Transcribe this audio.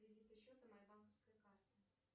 реквизиты счета моей банковской карты